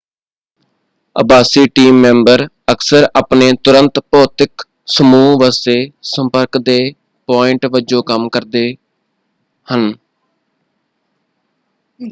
ਆਭਾਸੀ team member ਅਕਸਰ ਆਪਣੇ ਤੁਰੰਤ ਭੌਤਿਕ ਸਮੂਹ ਵਾਸਤੇ ਸੰਪਰਕ ਦੇ ਪੁਆਇੰਟ ਵਜੋਂ ਕੰਮ ਕਰਦੇ ਹਨ।